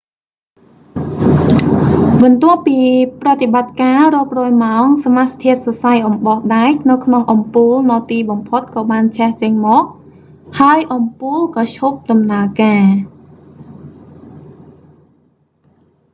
បន្ទាប់ពីប្រតិបត្ដិការរាប់រយម៉ោង សមាសធាតុសរសៃអំបោះដែកនៅក្នុងអំពូលនៅទីបំផុតក៏បានឆេះចេញមក ហើយអំពូលក៏ឈប់ដំណើរការ